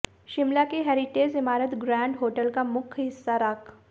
शिमला की हैरिटेज इमारत grand hotel का मुख्य हिस्सा राख